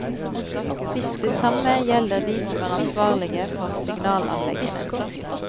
Det samme gjelder de som er ansvarlige for signalanleggene.